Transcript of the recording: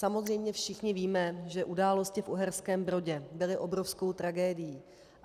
Samozřejmě všichni víme, že události v Uherském Brodě byly obrovskou tragédií.